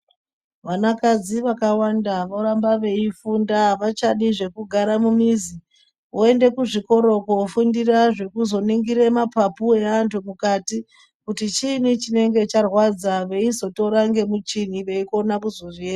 Vana kadzi vakawanda voramba veifunda avachadi zvekugara mumizi voenda kuzvikora kundofundira zvekuzoningira mapapu evantu mukati kuti chini chinenge charwadza veizotora nemuchini veizokona kuzozvi.